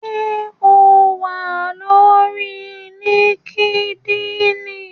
Ṣé o wà lórí líkídíìnì?